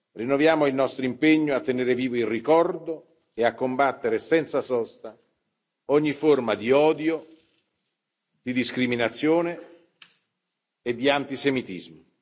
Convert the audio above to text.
Rinnoviamo il nostro impegno a tenere vivo il ricordo e a combattere senza sosta ogni forma di odio, di discriminazione e di antisemitismo.